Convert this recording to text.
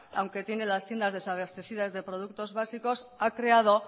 aunque tiene las tiendas desabastecidas de productos básicos ha creado